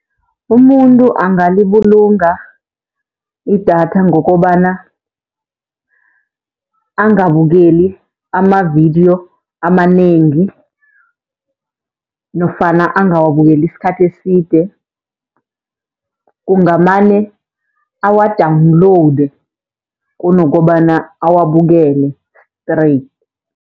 Umuntu angalibulunga idatha ngokobana angabukeli amavidiyo amanengi nofana angawabukeli isikhathi eside, kungamane awa-downloade kunokobana awabukele straight.